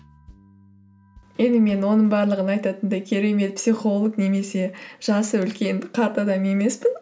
енді мен оның барлығын айтатындай керемет психолог немесе жасы үлкен қарт адам емеспін